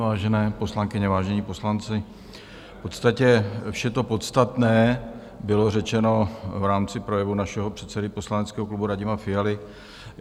Vážené poslankyně, vážení poslanci, v podstatě vše to podstatné bylo řečeno v rámci projevu našeho předsedy poslaneckého klubu Radima Fialy.